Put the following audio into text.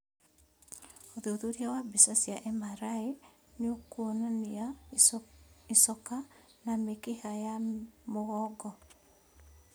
ũthuthuria wa mbica cia MRI nĩũkuonania icoka na mĩkiha ya mũgongo